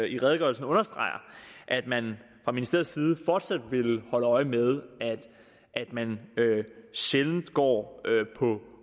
i redegørelsen understreger at man fra ministeriets side fortsat vil holde øje med at man sjældent går på